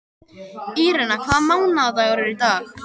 Írena, hvaða mánaðardagur er í dag?